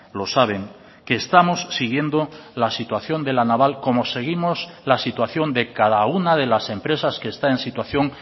lo saben que estamos siguiendo la situación de la naval como seguimos la situación de cada una de las empresas que está en situación